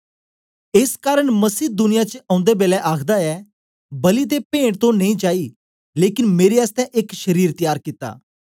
एस कारन मसीह दुनिया च औंदे बेलै आखदा ऐ बलि ते पेंट तो नेई चाई लेकन मेरे आसतै एक शरीर त्यार कित्ता